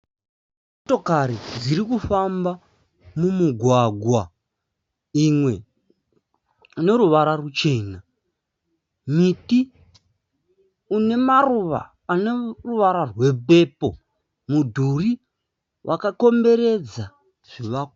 Motokari dzirikufamba mumugwaga. Imwe ine ruvara ruchena. Miti ine maruva ane ruvara rwe pepo. Mudhuri wakakomberedza zvivakwa.